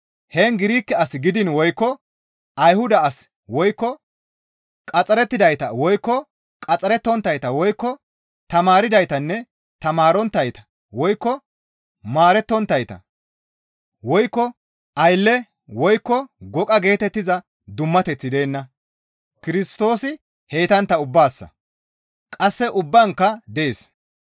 Heen Girike as gidiin woykko Ayhuda as woykko qaxxarettidayta woykko qaxxarettonttayta woykko tamaardaytanne tamaaronttayta woykko maarettonttayta woykko aylle woykko goqa geetettiza dummateththi deenna; Kirstoosi heytantta ubbaassa; qasse ubbaankka dees.